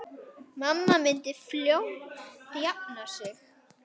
Mamma myndi fljótt jafna sig.